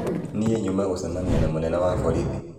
nĩĩ nyuma gũcemanĩa na mũnene wa borithi.